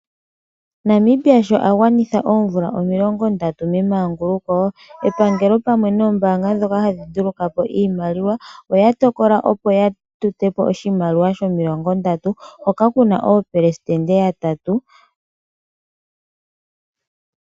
Namibia sho a gwanitha oomvula omilongondatu memanguluko, epangelo pamwe noombaanga ndhoka hadhi nduluka po iimaliwa, ota tokola opo ya tote po oshimaliwa shomilongo ndatu, hoka ku na oopelesitende yatatu.